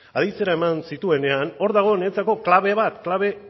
aditzera eman zituenean hor dago niretzako klabe bat klabe